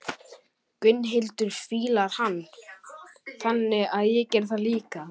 Gunnhildur fílar hann, þannig að ég geri það líka.